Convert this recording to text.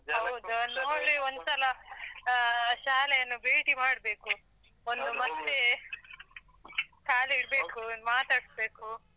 ಒಂದ್ಸಲ ಆ ಶಾಲೆಯನ್ನು ಭೇಟಿ ಮಾಡ್ಬೇಕು. ಒಂದು . ಕಾಲಿಡ್ಬೇಕು ಮಾತಾಡ್ಸ್ಬೇಕು.